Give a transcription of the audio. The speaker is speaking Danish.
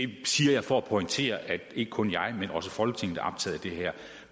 det siger jeg for at pointere at ikke kun jeg men også folketinget er optaget af det her